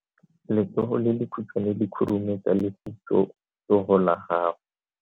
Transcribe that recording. Letsogo le lekhutshwane le khurumetsa lesufutsogo la gago.